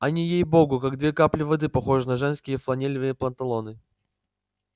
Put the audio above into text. они ей-богу как две капли воды похожи на женские фланелевые панталоны